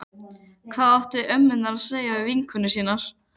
Það hvarflar ekki að mér fyrr en íbúðin gljáir.